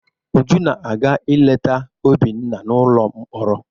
Uju na-aga ileta Obinna n'ụlọ mkpọrọ.